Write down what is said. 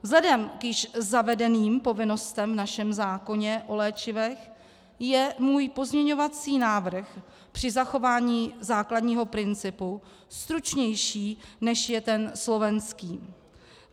Vzhledem k již zavedeným povinnostem v našem zákoně o léčivech je můj pozměňovací návrh při zachování základního principu stručnější, než je ten slovenský.